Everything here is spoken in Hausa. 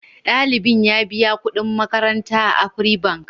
Ɗalibin ya biya kuɗin makaranta a Afri Bank.